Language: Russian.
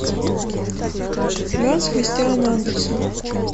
ганс христиан андерсон